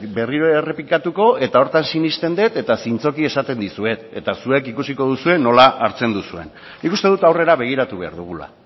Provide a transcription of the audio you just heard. berriro errepikatuko eta horretan sinesten den eta zintzoki esaten dizuet eta zuek ikusiko duzue nola hartzen duzuen nik uste dut aurrera begiratu behar dugula